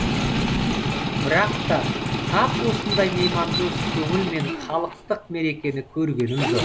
бірақ та тап осындай меймандос көңіл мен халықтық мерекені көргенім жоқ